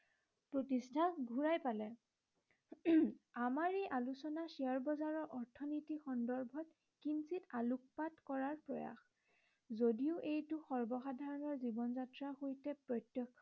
প্ৰতিষ্ঠা ঘূৰাই পালে। উম আমাৰ এই আলোচনা শ্বেয়াৰ বজাৰৰ অৰ্থনৈতিক সন্দৰ্ভত কিঞ্চিত আলোকপাত কৰাৰ প্ৰয়াস। যদিও এইটো সৰ্বসাধাৰনৰ জীৱন যাত্ৰাৰ সৈতে প্ৰত্য়ক্ষ